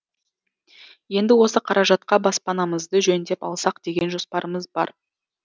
енді осы қаражатқа баспанамызды жөндеп алсақ деген жоспарымыз бар